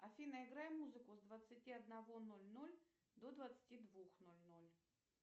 афина играй музыку с двадцати одного ноль ноль до двадцати двух ноль ноль